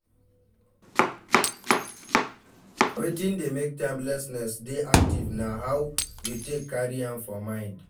Wetin dey make timelessness dey active na how we take carry am for mind